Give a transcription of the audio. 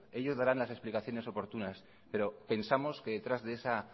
ellos darán las explicaciones oportunas pero pensamos que detrás de esa